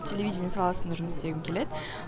телевидение саласында жұмыс істегім келеді